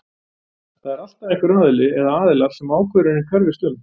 það er alltaf einhver aðili eða aðilar sem ákvörðunin hverfist um